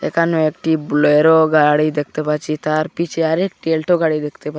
এখানে একটি বুলেরো গাড়ি দেখতে পাচ্ছি তার পিছে আর একটি এলটো গাড়ি দেখতে পা--